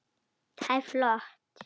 Það er flott.